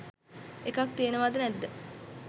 එකක් තියෙනවාද නැද්ද